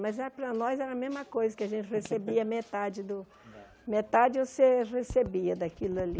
Mas era para nós era a mesma coisa, que a gente recebia metade do... Metade você recebia daquilo ali.